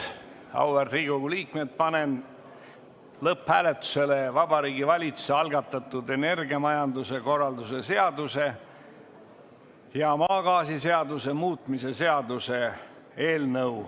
Auväärt Riigikogu liikmed, panen lõpphääletusele Vabariigi Valitsuse algatatud energiamajanduse korralduse seaduse ja maagaasiseaduse muutmise seaduse eelnõu.